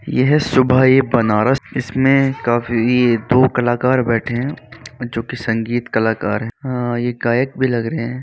यह सुबह ए बनारस इसमें काफी दो कलाकार बैठे हैं जो की संगीत कलाकार हैं। अ यह गायक भी लग रहे हैं।